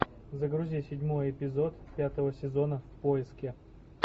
загрузи седьмой эпизод пятого сезона в поиске